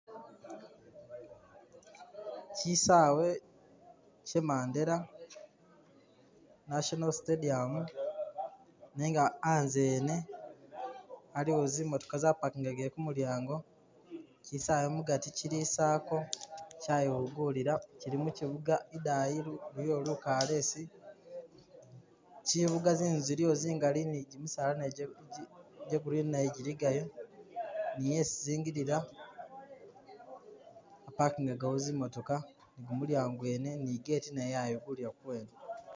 Kyisaawe kye Mandela National Stadium nenga anze wene aliwo zi'motokha zapakingakile kumulyango kisaawe mugaati kili i circle kyayigulila kili mukibuga idani iliyo lukalesi, kibuga zinzu ziliyo zingali ne kimisaala najo gya green jili gayo ni esi zingilila ba pakingaga awo zi motoka ni gumulyango mwene ne gate nayo yayigulila ku bwene